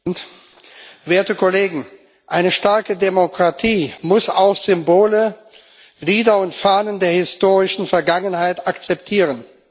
Herr Präsident, werte Kollegen! Eine starke Demokratie muss auch Symbole, Lieder und Fahnen der historischen Vergangenheit akzeptieren.